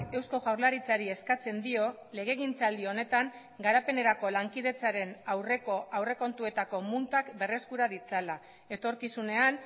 eusko jaurlaritzari eskatzen dio legegintzaldi honetan garapenerako lankidetzaren aurreko aurrekontuetako muntak berreskura ditzala etorkizunean